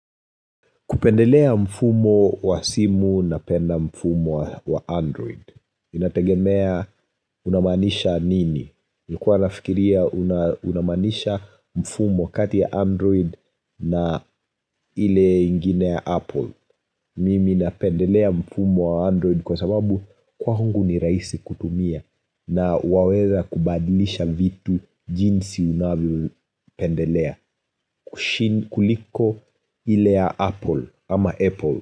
Kupendelea mfumo wa simu napenda mfumo wa android. Inategemea unamaanisha nini. Nilikuwa nafikiria unamaanisha mfumo kati ya android na ile ingine ya apple. Mimi napendelea mfumo wa android kwa sababu kwangu ni rahisi kutumia. Na waweza kubadilisha vitu jinsi unavyopendelea kuliko ile ya apple ama apple. Kwa hivyo.